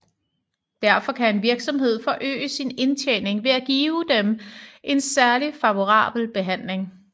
Derfor kan en virksomhed forøge sin indtjening ved at give dem en særlig favorabel behandling